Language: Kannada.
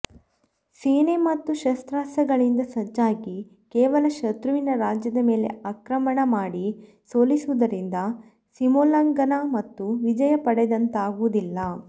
ಸೇನೆ ಮತ್ತು ಶಸ್ತ್ರಾಸ್ತ್ರಗಳಿಂದ ಸಜ್ಜಾಗಿ ಕೇವಲ ಶತ್ರುವಿನ ರಾಜ್ಯದ ಮೇಲೆ ಆಕ್ರಮಣ ಮಾಡಿ ಸೋಲಿಸುವುದರಿಂದ ಸೀಮೋಲ್ಲಂಘನ ಮತ್ತು ವಿಜಯ ಪಡೆದಂತಾಗುವುದಿಲ್ಲ